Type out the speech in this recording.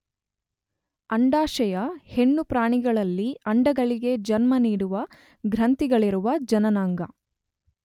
ಅಂಡಾಶಯ ಹೆಣ್ಣು ಪ್ರಾಣಿಗಳಲ್ಲಿ ಅಂಡಗಳಿಗೆ ಜನ್ಮ ನೀಡುವ ಗ್ರಂಥಿಗಳಿರುವ ಜನನಾಂಗ.